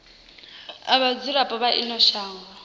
ha vhadzulapo vha ino shango